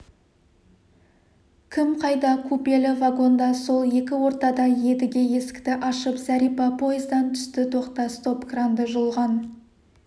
кім қайда купелі вагонда сол екі ортада едіге есікті ашып зәрипа пойыздан түсті тоқта стоп-кранды жұлған